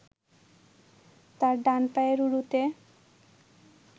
তার ডান পায়ের উরুতে